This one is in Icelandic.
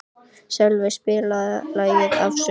Sölvey, spilaðu lagið „Afasöngur“.